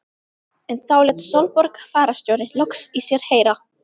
En þá lét Sólborg fararstjóri loks í sér heyra.